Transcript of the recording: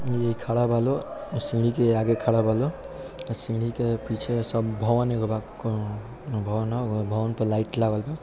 इ खाड़ा बा लोग इ सीढ़ी के आगे खाड़ा बा लोग अ सीढ़ी के पीछे सब भवन एगो बा कोनो भवन पे लाइट लागल बा।